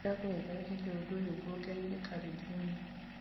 nĩ ndagũthaitha weherie ũndũ ũyũ nguongereire karenda-inĩ